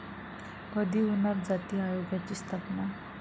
कधी होणार जाती आयोगाची स्थापना?